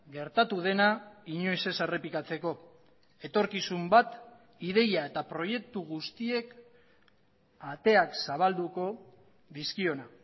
gertatu dena inoiz ez errepikatzeko etorkizun bat ideia eta proiektu guztiek ateak zabalduko dizkiona